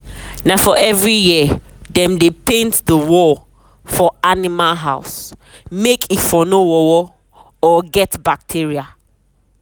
na um every year dem dey paint the wall for animal house um make e um for nor worwor and get bacteria.